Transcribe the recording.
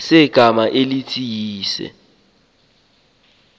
segama elithi uyise